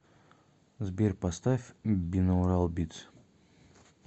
сбер поставь бинаурал битс